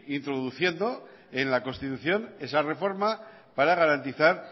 introduciendo en la constitución esa reforma para garantizar